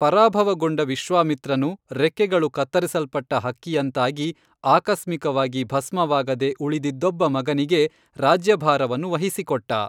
ಪರಾಭವಗೊಂಡ ವಿಶ್ವಾಮಿತ್ರನು ರೆಕ್ಕೆಗಳು ಕತ್ತರಿಸಲ್ಪಟ್ಟ ಹಕ್ಕಿಯಂತಾಗಿ ಆಕಸ್ಮಿಕವಾಗಿ ಭಸ್ಮವಾಗದೆ ಉಳಿದಿದ್ದೊಬ್ಬ ಮಗನಿಗೆ ರಾಜ್ಯಭಾರವನ್ನು ವಹಿಸಿಕೊಟ್ಟ